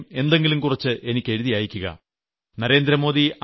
നിങ്ങൾ തീർച്ചയായും എന്തെങ്കിലും കുറച്ച് എനിക്ക് എഴുതി അയക്കുക